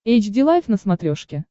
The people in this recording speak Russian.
эйч ди лайф на смотрешке